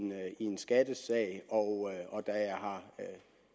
en skattesag og da